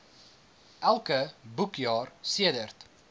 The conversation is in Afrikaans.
elke boekjaar sedert